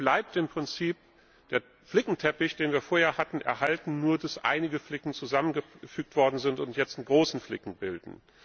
Damit bleibt im Prinzip der Flickenteppich, den wir vorher hatten, erhalten, nur dass einige Flicken zusammengefügt worden sind und jetzt einen großen Flicken bilden.